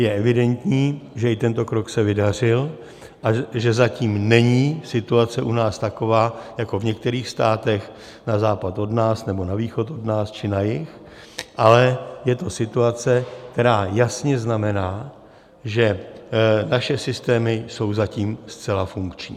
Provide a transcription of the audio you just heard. Je evidentní, že i tento krok se vydařil a že zatím není situace u nás taková jako v některých státech na západ od nás, nebo na východ od nás, či na jih, ale je to situace, která jasně znamená, že naše systémy jsou zatím zcela funkční.